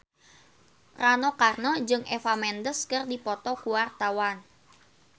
Rano Karno jeung Eva Mendes keur dipoto ku wartawan